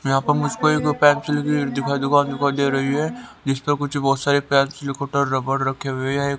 यहां पर मुझको एक पेंसिल की दिखाई दुकान दिखाई दे रही है जिस पर कुछ बहुत सारे पेंसिल रबड़ रखे हुए हैं।